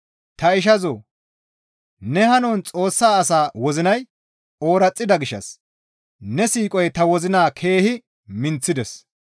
Ta ishazoo! Ne hanon Xoossa asaa wozinay ooraxida gishshas ne siiqoy ta wozina keehi minththides.